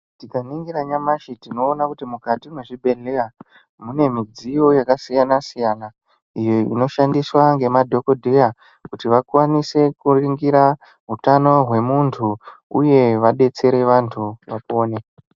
Tikaningira nyamashi tinona kuti mukati mezvibhedhleya mune midziyo yakasiyana-siyana, iyo inoshandiswa ngemadhogodheya kuti vakwanise kuringira hutano hwemuntu, uye vabetsere vantu vapone.